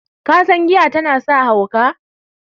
kasan giya tana sa hauka?